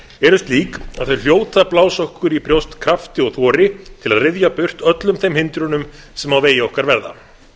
eru slík að þau hljóta að blása okkur í brjóst krafti og þori til að ryðja burt öllum þeim hindrunum sem á vegi okkar verða